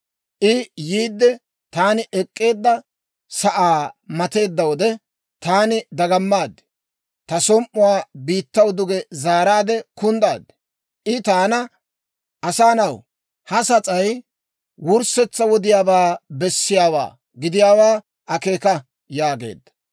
I yiide taani ek'k'eedda sa'aa mateedda wode, taani dagamaade, ta som"uwaa biittaw duge zaaraade kunddaad. I taana, «Asaa na'aw, ha sas'ay wurssetsaa wodiyaabaa bessiyaawaa gidiyaawaa akeeka» yaageedda.